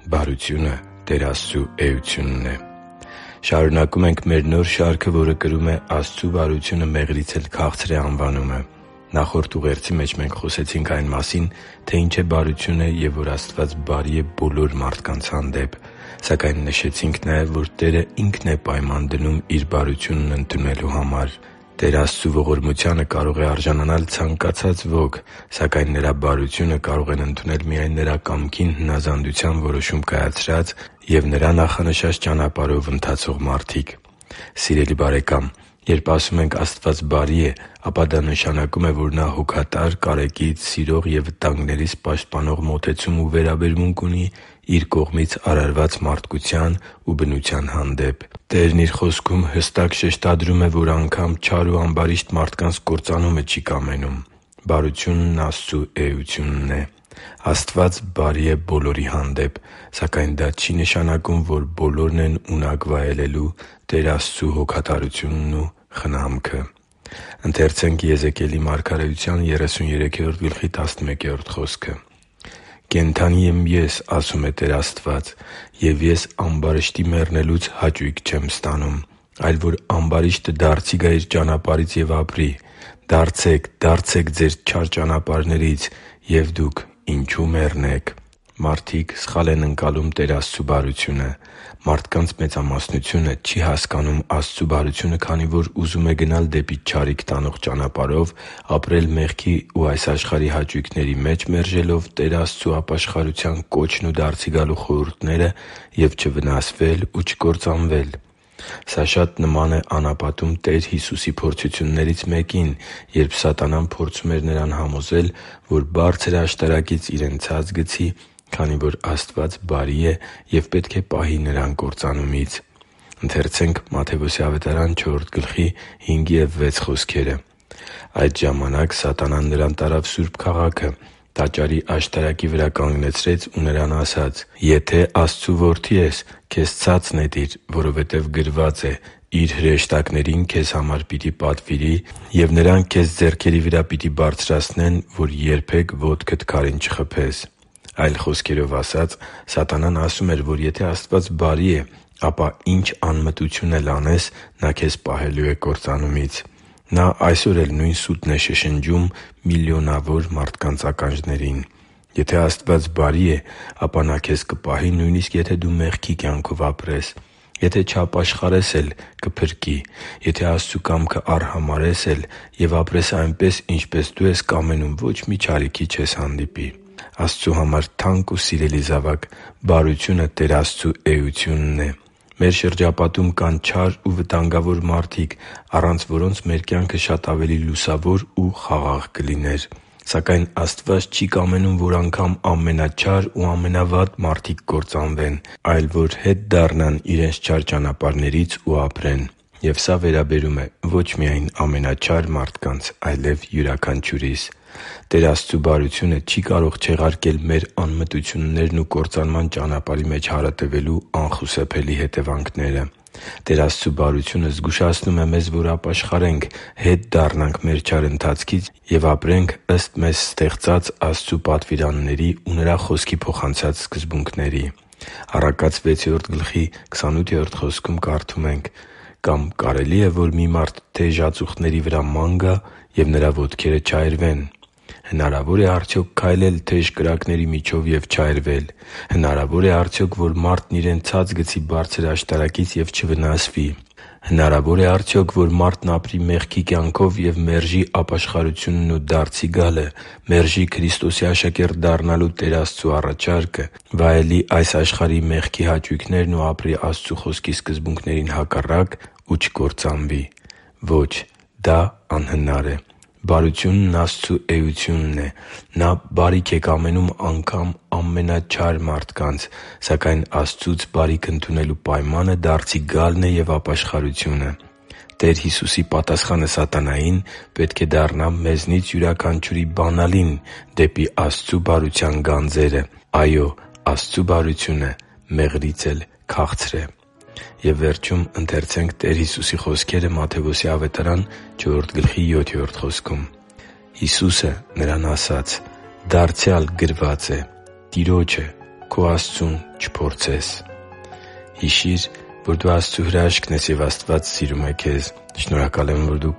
Բարությունը Տեր Աստծու էությունն է Շարունակում ենք մեր նոր շարքը, որը կրում է «Աստծու բարությունը մեղրից էլ քաղցր է» անվանումը։ Նախորդ ուղերձի մեջ մենք խոսեցինք այն մասին, թե ինչ է բարությունը և որ Աստված բարի է բոլոր մարդկանց հանդեպ։ Սակայն նշեցինք նաև, որ Տերը Ինքն է պայման դնում Իր բարությունն ընդունելու համար։ Տեր Աստծու ողորմությանը կարող է արժանանալ ցանկացած ոք, սակայն Նրա բարությունը կարող են ընդունել միայն Նրա կամքին հնազանդության որոշում կայացրած և Նրա նախանշած ճանապարհներով ընթացող մարդիկ։ Սիրելի՛ բարեկամ, երբ ասում ենք՝ Աստված բարի է, ապա դա նշանակում է, որ Նա հոգատար, կարեկից, սիրող և վտանգներից պաշտպանող մոտեցում ու վերաբերմունք ունի Իր կողմից արարված մարդկության ու բնության հանդեպ։ Տերը Իր Խոսքում հստակ շեշտադրում է, որ անգամ չար ու ամբարիշտ մարդկանց կործանումը չի կամենում։ Բարությունն Աստծու էությունն է։ Աստված բարի է բոլորի հանդեպ։ Սակայն դա չի նշանակում, որ բոլորն են ունակ վայելելու Տեր Աստծու հոգատարությունն ու խնամքը։ «“Կենդանի եմ Ես,- ասում է Տեր Աստված,- և Ես ամբարիշտի մեռնելուց հաճույք չեմ ստանում, այլ որ ամբարիշտը դարձի գա իր ճանապարհից և ապրի։ Դարձե՛ք, դարձե՛ք ձեր չար ճանապարհներից և դուք ինչո՞ւ մեռնեք․․․» (Եզեկիել 33․11): Մարդիկ սխալ են ընկալում Տեր Աստծու բարությունը։ Մարդկանց մեծամասնությունը չի հասկանում Աստծու բարությունը, քանի որ ուզում է գնալ դեպի չարիք տանող ճանապարհով, ապրել մեղքի ու այս աշխարհի հաճույքների մեջ՝ մերժելով Տեր Աստծու ապաշխարության կոչն ու դարձի գալու հորդորները, և չվնասվել ու չկործանվել։ Սա շատ նման է անապատում Տեր Հիսուսի փորձություններից մեկին, երբ սատանան փորձում էր Նրան համոզել, որ բարձր աշտարակից Իրեն ցած գցի, քանի որ Աստված բարի է և պետք է պահի Նրան կործանումից։ «Այդ ժամանակ սատանան Նրան տարավ սուրբ քաղաքը, տաճարի աշտարակի վրա կանգնեցրեց ու Նրան ասաց. «Եթե Աստծու Որդին ես, քեզ ցա՛ծ նետիր, որովհետև գրված է. "Իր հրեշտակներին քեզ համար պիտի պատվիրի, և նրանք քեզ ձեռքերի վրա պիտի բարձրացնեն, որ երբեք ոտքդ քարին չխփես"» (Մատթեոս 4․5-6)։ Այլ խոսքերով ասած՝ սատանան ասում էր, որ եթե Աստված բարի է, ապա ինչ անմտություն էլ անես, Նա քեզ պահելու է կործանումից։ Նա այսօր էլ նույն սուտն է շշնջում միլիոնավոր մարդկանց ականջներին․ «Եթե Աստված բարի է, ապա Նա քեզ կպահի, նույնիսկ եթե դու մեղքի կյանքով ապրես․․․ Եթե չապաշխարես էլ, կփրկի․․․ Եթե Աստծու կամքը արհամարհես էլ և ապրես այնպես, ինչպես դու ես կամենում, ոչ մի չարիքի չես հանդիպի․․․»։ Աստծո համար թանկ ու սիրելի՛ զավակ, բարությունը Տեր Աստծու էությունն է։ Մեր շրջապատում կան չար ու վտանգավոր մարդիկ, առանց որոնց մեր կյանքը շատ ավելի լուսավոր ու խաղաղ կլիներ։ Սակայն Աստված չի կամենում, որ անգամ ամենաչար ու ամենավատ մարդիկ կործանվեն, այլ որ հետ դառնան իրենց չար ճանապարհներից ու ապրեն։ Եվ սա վերաբերում է ոչ միայն ամենաչար մարդկանց, այլև՝ յուրաքանչյուրիս։ Տեր Աստծու բարությունը չի կարող չեղարկել մեր անմտություններն ու կործանման ճանապարհի մեջ հարատևելու անխուսափելի հետևանքները։ Տեր Աստծու բարությունը զգուշացնում է մեզ, որ ապաշխարենք՝ հետ դառնանք մեր չար ընթացքից և ապրենք ըստ մեզ ստեղծած Աստծու պատվիրանների ու Նրա Խոսքի փոխանցած սկզբունքների։ «Կամ կարելի՞ է, որ մի մարդ թեժ ածուխների վրա ման գա, և նրա ոտքերը չայրվեն» (Առակաց 6․28): Հնարավո՞ր է արդյոք քայլել թեժ կրակների միջով և չայրվել։ Հնարավո՞ր է արդյոք, որ մարդն իրեն ցած գցի բարձր աշտարակից և չվնասվի։ Հնարավո՞ր է արդյոք, որ մարդն ապրի մեղքի կյանքով և մերժի ապաշխարությունն ու դարձի գալը, մերժի Քրիստոսի աշակերտ դառնալու Տեր Աստծու առաջարկը, վայելի այս աշխարհի մեղքի հաճույքներն ու ապրի Աստծու Խոսքի սկզբունքներին հակառակ և չվնասվի ու չկործանվի․․․ Ո՛չ։ Դա անհնար է։ Բարությունն Աստծու էությունն է։ Նա բարիք է կամենում անգամ ամենաչար մարդկանց։ Սակայն Աստծուց բարիք ընդունելու պայմանը դարձի գալն է և ապաշխարությունը։ Տեր Հիսուսի պատասխանը սատանային պետք է դառնա մեզնից յուրաքանչյուրի բանալին դեպի Տեր Աստծու բարության գանձերը։ Այո՛, Աստծու բարությունը մեղրից էլ քաղցր է․․․ «Հիսուսը նրան ասաց. «Դարձյալ գրված է. "Տիրոջը՝ քո Աստծուն, չփորձես"» (Մատթեոս 4․7)։ Հիշի՛ր, որ դու Աստծո հրաշքն ես, և Աստված սիրում է քեզ։ Շնորհակալ եմ, որ դու